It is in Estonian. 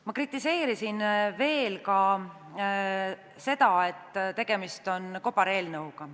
Ma kritiseerisin ka seda, et tegemist on kobareelnõuga.